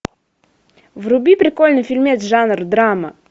вруби прикольный фильмец жанр драма